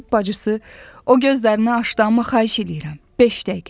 Tibb bacısı o gözlərini açdı, amma xahiş eləyirəm, beş dəqiqə!